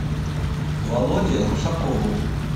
володе русакову